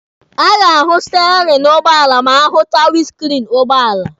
A ga-ahụ steerini ụgbọala ma ahụchaa winiskriini ụgbọala.